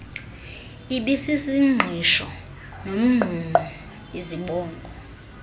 ibisisingqisho nomngqungqo izibongo